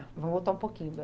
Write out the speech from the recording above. Vamos voltar um pouquinho.